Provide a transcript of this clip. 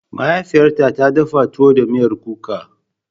Mahaifiyata ta dafa tuwo da miyar kuka.